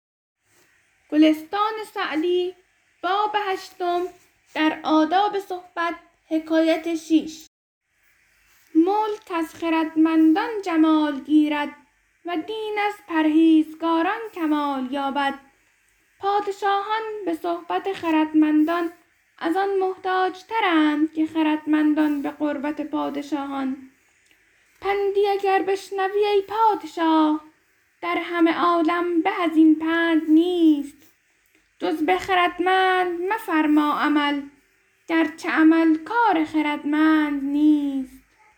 ملک از خردمندان جمال گیرد و دین از پرهیزگاران کمال یابد پادشاهان به صحبت خردمندان از آن محتاج ترند که خردمندان به قربت پادشاهان پندی اگر بشنوی ای پادشاه در همه عالم به از این پند نیست جز به خردمند مفرما عمل گرچه عمل کار خردمند نیست